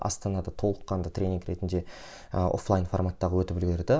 астанада толыққанды тренинг ретінде і офлайн форматта өтіп үлгерді